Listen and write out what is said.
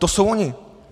To jsou oni.